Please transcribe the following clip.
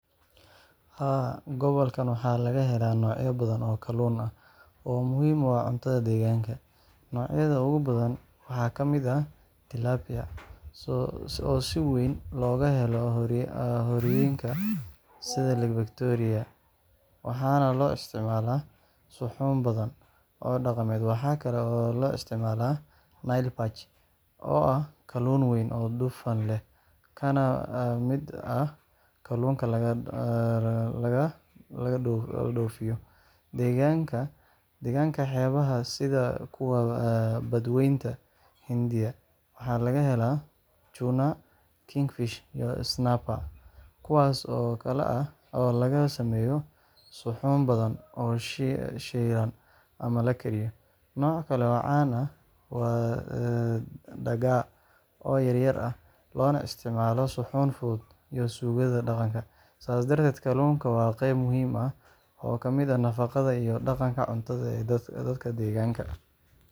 Haa, gobolkan waxaa laga helaa noocyo badan oo kalluun ah oo muhiim u ah cuntada deegaanka. Noocyada ugu badan waxaa ka mid ah Tilapia, oo si weyn looga helo harooyinka sida Lake Victoria, waxaana loo isticmaalaa suxuun badan oo dhaqameed. Waxaa kale oo aad loo isticmaalaa Nile Perch, oo ah kalluun weyn oo dufan leh kana mid ah kalluunka laga dhoofiyo. Degaanka xeebaha, sida kuwa Badweynta Hindiya, waxaa laga helaa Tuna, Kingfish, iyo Snapper, kuwaas oo laga sameeyo suxuun badan oo shiilan ama la kariyo. Nooc kale oo caan ah waa Dagaa, oo yaryar ah, loona isticmaalo suxuun fudud iyo suugada dhaqanka. Sidaas darteed, kalluunka waa qayb muhiim ah oo ka mid ah nafaqada iyo dhaqanka cuntada ee dadka deegaanka.